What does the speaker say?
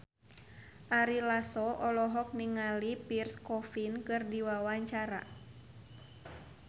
Ari Lasso olohok ningali Pierre Coffin keur diwawancara